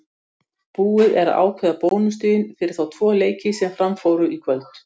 Stjarnan er nú kölluð sprengistjarna.